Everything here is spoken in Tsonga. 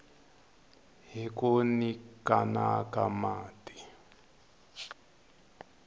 hi ku nyikana hi mati